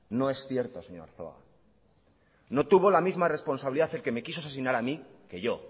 no es cierto señor arzuaga no tuvo la misma responsabilidad el que me quiso asesinar a mí que yo